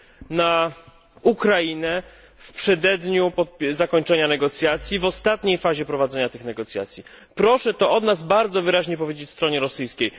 na Ukrainę w przededniu zakończenia negocjacji, w ostatniej fazie prowadzenia tych negocjacji. Proszę to od nas bardzo wyraźnie powiedzieć stronie rosyjskiej.